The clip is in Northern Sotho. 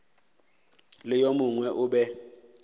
le yo mongwe o be